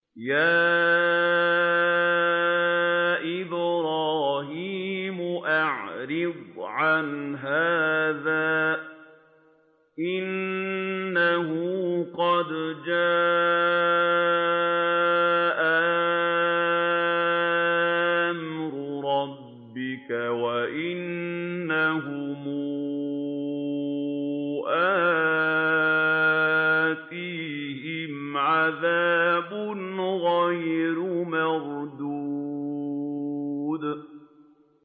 يَا إِبْرَاهِيمُ أَعْرِضْ عَنْ هَٰذَا ۖ إِنَّهُ قَدْ جَاءَ أَمْرُ رَبِّكَ ۖ وَإِنَّهُمْ آتِيهِمْ عَذَابٌ غَيْرُ مَرْدُودٍ